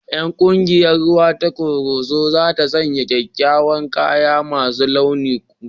Ƴan ƙungiyar rawa ta Koroso za ta sanya kyawawan kaya masu launuka